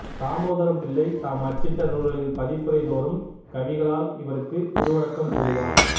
தாமோதரம்பிள்ளை தாம் அச்சிட்ட நூல்களின் பதிப்புரை தோறும் கவிகளால் இவருக்கு குரு வணக்கம் கூறுவார்